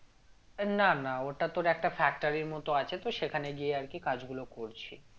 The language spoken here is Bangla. না না ওটা তোর একটা factory এর মত আছে তো সেখানে গিয়ে আর কি কাজগুলো করছি